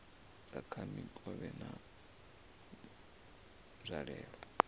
dza kha mikovhe na nzwalelo